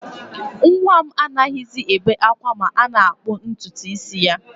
Nwa m anaghịzi ebe ákwá ma a na-akputu ntutu isi ya